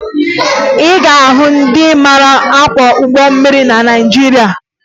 Ị ga-ahụ ndị mara akwọ ụgbọ mmiri na Naịjirịa